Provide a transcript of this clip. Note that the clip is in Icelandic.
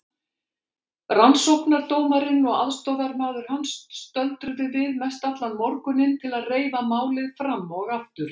Rannsóknardómarinn og aðstoðarmaður hans stöldruðu við mestallan morguninn til að reifa málið fram og aftur.